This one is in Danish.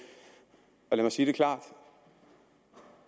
jeg mig sige det klart